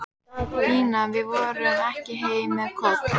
Pína, við förum ekki heim með Kol.